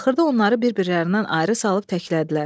Axırda onları bir-birlərindən ayrı salıb təklədilər.